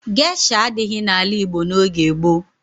Gesha adighị n'ala Igbo n'oge gboo.